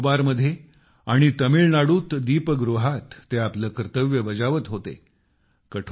अंदमान निकोबार मध्ये आणि तामिळनाडूत लाईटहाऊसवर ते आपले कर्तव्य बजावत होते